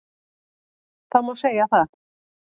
Það má segja það